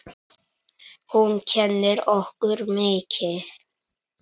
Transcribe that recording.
Hún kennir okkur mikið.